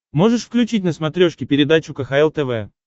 можешь включить на смотрешке передачу кхл тв